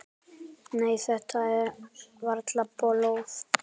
Nei, þetta er varla blóð.